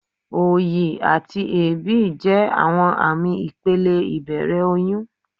Òyì àti èébì jẹ́ àwọn àmì ìpele ìbẹ̀rẹ̀ oyún.